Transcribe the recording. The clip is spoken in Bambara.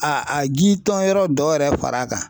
A a ji tɔn yɔrɔ dɔ yɛrɛ far'a kan.